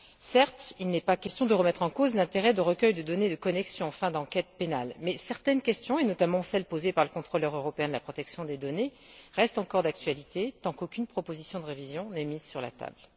Certes, il n'est pas question de remettre en cause l'intérêt de recueils de données de connexion à des fins d'enquête pénale mais certaines questions et, notamment, celles posées par le Contrôleur européen de la protection des données, restent encore d'actualité tant qu'aucune proposition de révision n'est mise sur la table.